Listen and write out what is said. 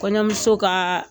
Kɔɲɔmuso ka